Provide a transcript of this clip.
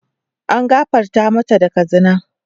An gafarta matan daga zina.